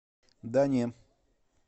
да не